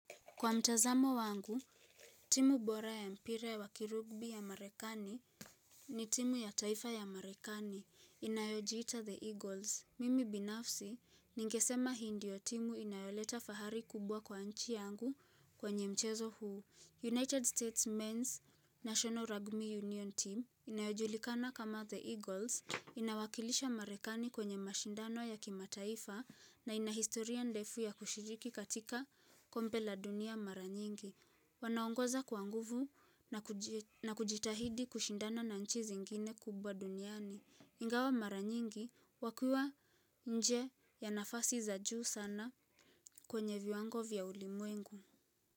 Kwa mtazamo wangu, timu bora ya mpira wakirugbi ya marekani ni timu ya taifa ya marekani inayojiita The Eagles. Mimi binafsi, ningesema hii ndiyo timu inayoleta fahari kubwa kwa nchi yangu kwenye mchezo huu. United States Men's National Rugby Union team inayojulikana kama The Eagles inawakilisha marekani kwenye mashindano ya kimataifa na ina historia ndefu ya kushiriki katika kombe la dunia mara nyingi Wanaongoza kwa nguvu na kujitahidi kushindana na nchi zingine kubwa duniani Ingawa mara nyingi wakiwa nje ya nafasi za juu sana kwenye viwango vya ulimwengu.